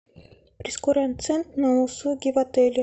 прейскурант цен на услуги в отеле